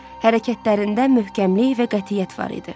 Hərəkətlərində möhkəmlik və qətiyyət var idi.